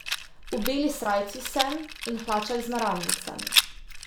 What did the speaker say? V beli srajci sem, in hlačah z naramnicami.